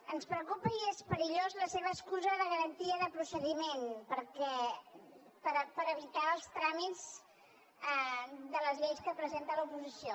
ens preocupa i és perillós la seva excusa de garantia de procediment per evitar els tràmits de les lleis que presenta l’oposició